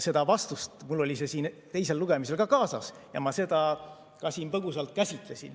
See vastus mul oli siin teisel lugemisel kaasas ja ma seda põgusalt käsitlesin.